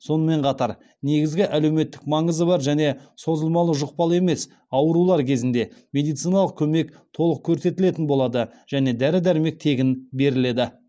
сонымен қатар негізгі әлеуметтік маңызы бар және созылмалы жұқпалы емес аурулар кезінде медициналық көмек толық көрсетілетін болады және дәрі дәрмек тегін беріледі